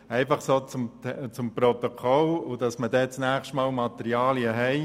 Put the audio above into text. Soviel zuhanden des Protokolls, damit wir beim nächsten Mal Materialien haben.